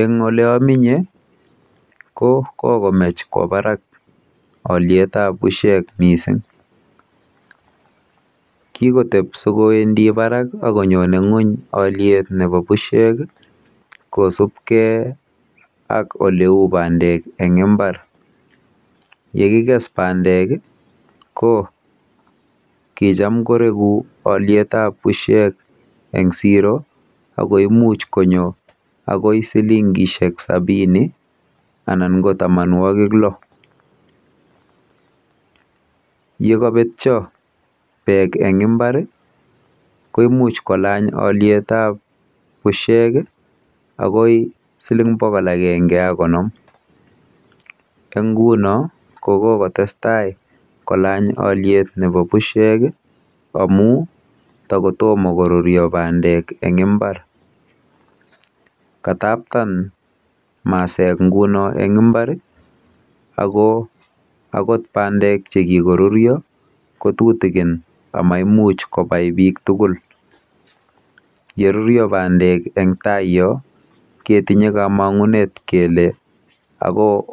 Eng oleaminye ko kokomech kwo barak alyetap bushek mising. Kikotep sikowendi barak akonyone ng'uny alyetap bushek kosubkei ak oleu bandek eng mbar. Yekikes bandek ko kicham koreku beitap bushek eng siro ako imuch konyo akoi silingishek sabini anan ko tamanwokik lo. Yekabetyo bandek eng mbar ko imuch kolany beitap bushek akoi siling bokol akenge ak konom. Eng nguno ko kokotestai kolany alyet nepo bushek amu takotomo koruryo bandek eng imbar. Kataptan masek nguno eng mbar ako akot bandek chekikoruryo kotukikin amaimuch kobai biik tugul. yeruryo bandek eng tai yo ketinye komong'unet kele ako